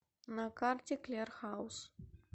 на карте клер хаус